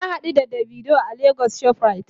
Na hadu da "davido" a lagos shoprite.